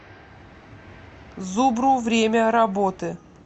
зубру время работы